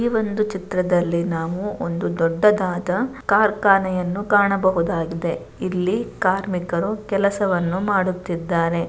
ಈ ಒಂದು ಚಿತ್ರದಲ್ಲಿ ನಾವು ಒಂದು ದೊಡ್ಡದಾದ ಕಾರ್ಖಾನೆಯನ್ನು ಕಾಣಬಹುದಾಗಿದೆ .ಇಲ್ಲಿ ಕಾರ್ಮಿಕರು ಕೆಲಸವನ್ನು ಮಾಡುತ್ತಿದ್ದಾರೆ.